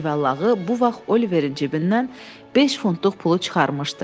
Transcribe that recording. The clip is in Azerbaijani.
Cüvəllağı bu vaxt Oliverin cibindən beş funtluq pulu çıxarmışdı.